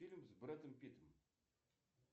фильм с брэдом питтом